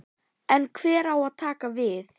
En hver á að taka við?